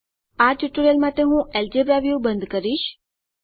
આ ટ્યુટોરીયલ માટે હું અલ્જેબ્રા વ્યૂ બંધ કરીશ